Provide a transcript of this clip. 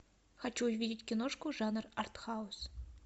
хочу увидеть киношку жанр артхаус